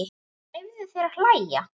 Leyfðu þér að hlæja.